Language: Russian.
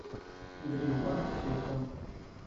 грин парк телефон